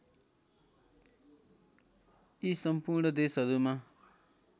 यी सम्पूर्ण देशहरूमा